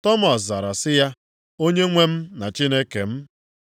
Tọmọs zara sị ya, “Onyenwe m na Chineke m!”